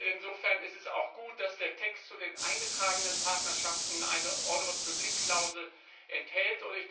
Insofern ist es auch gut, dass der Text zu den eingetragenen Partnerschaften eine Ordre public Klausel enthält.